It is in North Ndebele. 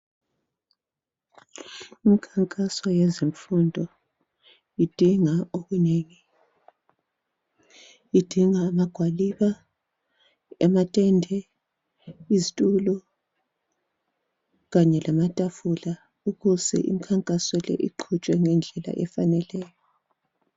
Imkhankaso yezemfundo idinga okunengi, idinga amagwaliba, amatende, izitulo kanye lamatafula ukuze imikhankaso le iqhutshwe ngendlela efaneleyo